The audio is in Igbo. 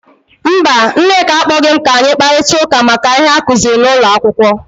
Mba, Nneka akpọghị m ka anyi kparịta ụka maka ihe a akuziri n’ụlọ akwụkwọ.